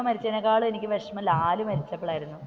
ടോവിനോ മരിച്ചതിനെക്കാളും എനിക്ക് വിഷമം ലാൽ മരിച്ചപ്പോളായിരുന്നു,